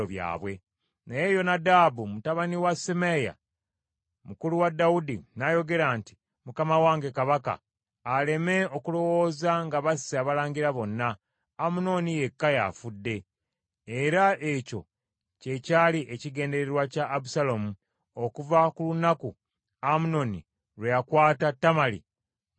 Naye Yonadabu mutabani wa Simeeya, mukulu wa Dawudi, n’ayogera nti, “Mukama wange kabaka aleme okulowooza nga basse abalangira bonna, Amunoni yekka y’afudde. Era ekyo kye kyali ekigendererwa kya Abusaalomu okuva ku lunaku Amunoni lwe yakwata Tamali mwannyina.